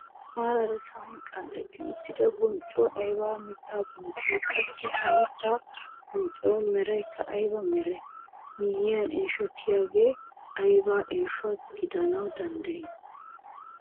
Maarara sa'an qanxxetti uttida bonccoy ayba mittaa bonccoo? Qassi ha mittaa bonccuwaa meraykka ayba meree? Miyiyankka eeshotiyaagee ayba eesho gidanawu danddiyii?